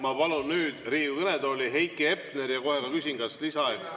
Ma palun nüüd Riigikogu kõnetooli Heiki Hepneri ja kohe küsin: kas soovite ka lisaaega?